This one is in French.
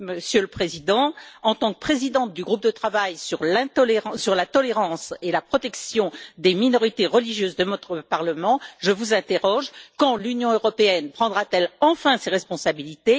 Monsieur le Président, en tant que présidente du groupe de travail sur la tolérance et la protection des minorités religieuses de notre Parlement, je vous interroge quand l'Union européenne prendra t elle enfin ses responsabilités?